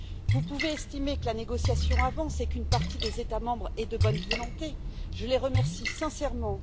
Vous pouvez estimer que la négociation avance et qu'une partie des États membres est de bonne volonté, je les en remercie sincèrement.